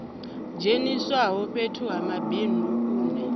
dzheniswaho fhethu ha mabindu une